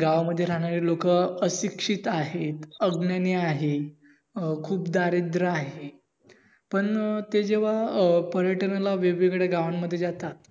गावामध्ये रहाणाऱ्या लोक अशिक्षित आहेत, अग्न्यानी आहेत, अं खूप दारिद्र आहेत. पण ते जेव्हा पर्यटनला वेगवेगळ्या गावात जातात